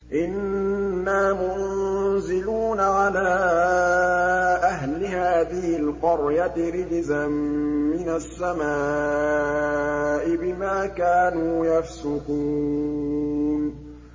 إِنَّا مُنزِلُونَ عَلَىٰ أَهْلِ هَٰذِهِ الْقَرْيَةِ رِجْزًا مِّنَ السَّمَاءِ بِمَا كَانُوا يَفْسُقُونَ